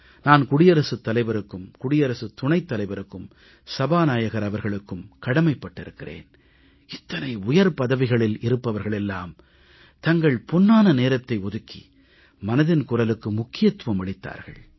நான் குடியரசுத் தலைவருக்கும் குடியரசுத் துணைத் தலைவருக்கும் மக்களவைத் தலைவர் அவர்களுக்கும் கடமைப் பட்டிருக்கிறேன் இத்தனை உயர் பதவிகளில் இருப்பவர்கள் எல்லாம் தங்கள் பொன்னான நேரத்தை ஒதுக்கி மனதின் குரலுக்கு முக்கியத்துவம் அளித்தார்கள்